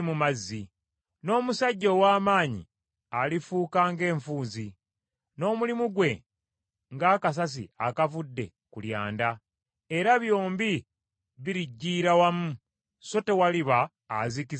N’omusajja ow’amaanyi alifuuka ng’enfuuzi, n’omulimu gwe ng’akasasi akavudde ku lyanda, era byombi biriggiira wamu so tewaliba azikiza omuliro ogwo.”